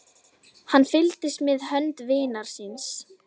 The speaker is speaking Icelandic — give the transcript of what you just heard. Hann fylgdist með hönd vinar síns.